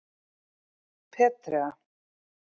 Petrea